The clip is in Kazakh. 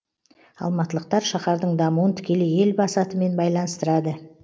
алматылықтар шаһардың дамуын тікелей елбасы атымен байланыстырады